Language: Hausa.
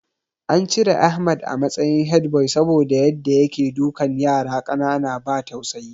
An cire Ahmad a matsayin headboy saboda Yadda yake dukan yara ƙanana ba tausayi